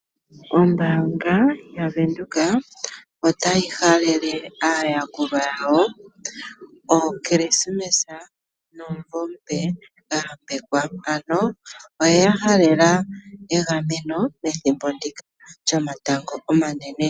Ombaanga yaVenduka ota yi halele aayakulwa ya wo evalo lyOmukulili nomumvo omupe gwayambekwa. Ota yi yahalele wo omayambeko pethimbo ndika lyomatango omanene